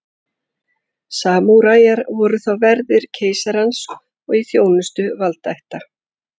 Samúræjar voru þá verðir keisarans og í þjónustu valdaætta.